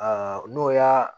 n'o y'a